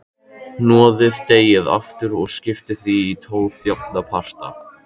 Hnoðið deigið aftur og skiptið því í tólf jafna parta.